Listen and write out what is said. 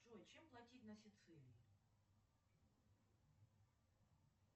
джой чем платить на сицилии